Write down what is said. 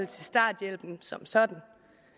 til starthjælpen som sådan